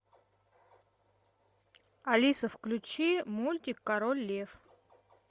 алиса включи мультик король лев